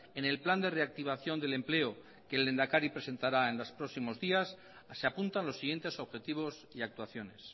en el plan de reactivación del empleo que el lehendakari presentará en los próximos días se apuntan los siguientes objetivos y actuaciones